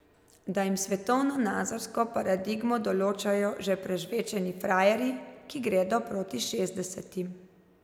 Da jim svetovnonazorsko paradigmo določajo že prežvečeni frajerji, ki gredo proti šestdesetim.